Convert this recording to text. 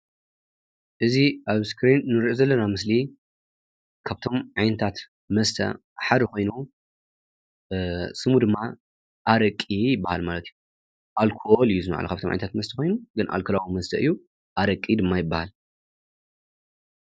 እዚ ኣብ እስክሪን እንሪኦ ዘለና ምስሊ ካብቶም ዓይነታት መስተ ሓደ ኮይኑ ስሙ ድማ ኣረቂ ይባሃል ማለት እዩ፡፡ ኣልኮል እዩ እዚ ካብቶም ዓይነታት መስተ ኮይኑ ኣልኮላዊ መስተ ኮይኑ ግን ኣረቂ ድማ ይባሃል፡፡